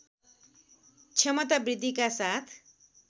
क्षमता वृद्धिका साथ